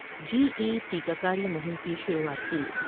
جی E ٹیکہ کاری مہم کی شروعات کی ۔